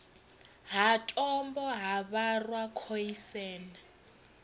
ha tombo ha vharwa khoisan